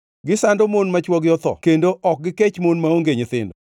Gisando mon ma chwogi otho kendo ok gikech mon maonge nyithindo.